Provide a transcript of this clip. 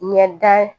Ɲɛda